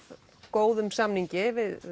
góðum samningi við